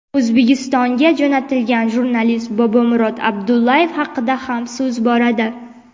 O‘zbekistonga jo‘natilgan jurnalist Bobomurod Abdullayev haqida ham so‘z boradi.